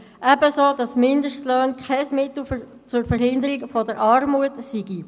Ebenso bestreite ich, dass Mindestlöhne kein Mittel zur Verhinderung der Armut seien.